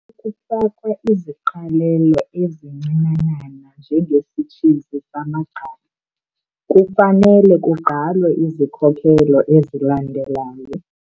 Xa kufakwa iziqalelo ezincinanana njengesitshizi samagqabi, kufanele kugqalwe izikhokelo ezilandelayo.